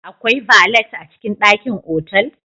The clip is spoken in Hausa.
Akwai Valet a cikin dakin otal